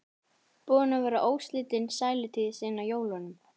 Búin að vera óslitin sælutíð síðan á jólunum.